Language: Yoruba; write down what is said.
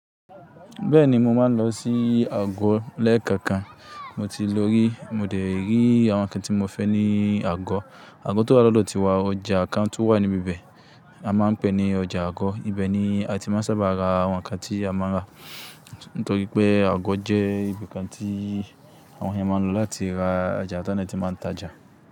Bẹ́ẹ̀ni, mo máa ń lọ sí àgọ̀ lẹ́ẹ̀kọ̀kan. Mo ti lorí, mo dẹ̀ rí àwọn ǹkan tí mo fẹ́ ní àgọ̀. Àgọ̀ tó wá lọ́dọ̀ tiwa, ọjà kan tún wà níbi ibẹ̀, a máa ń pè ní ọjà àgọ̀. Ibẹ̀ ni a ti máa ń sábà ra àwọn ǹkan tí a máa ń rà. Nítorí pé àgọ́ jẹ́ ibìkan tí àwọn ènìyàn máa ń lọ láti ra ọ̀ja tọ́n dẹ̀ ẹti máa ń tajà.